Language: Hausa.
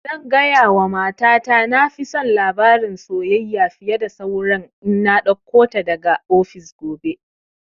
Zan gaya wa mata ta na fi son labarin soyayya fiye da saura in na ɗauko ta daga ofis gobe